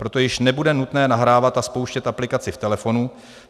Proto již nebude nutné nahrávat a spouštět aplikaci v telefonu.